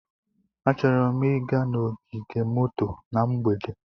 Achọrọ m ịga n'ogige moto na mgbede.